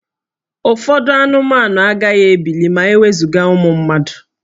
Ụfọdụ anụmanụ agaghị ebili ma e wezuga ụmụ mmadụ